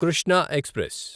Krishna express